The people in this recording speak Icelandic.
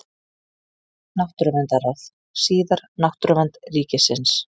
Náttúruverndarráð, síðar Náttúruvernd ríkisins.